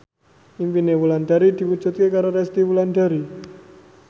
impine Wulandari diwujudke karo Resty Wulandari